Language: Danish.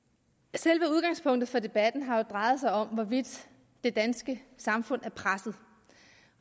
selve udgangspunktet for debatten har jo drejet sig om hvorvidt det danske samfund er presset